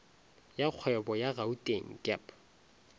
ya kgwebo ya gauteng gep